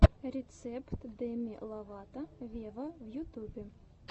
рецепт деми ловато вево в ютюбе